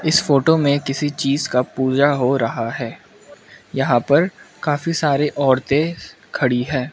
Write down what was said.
इस फोटो में किसी चीज़ का पूजा हो रहा है यहां पर काफी सारे औरतें खड़ी हैं।